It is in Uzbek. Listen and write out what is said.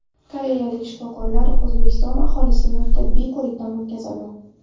Koreyalik shifokorlar O‘zbekiston aholisini tibbiy ko‘rikdan o‘tkazadi.